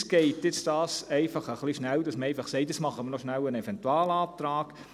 Uns geht es etwas zu schnell, dass man nun einfach sagt: «Jetzt machen wir noch schnell einen Eventualantrag.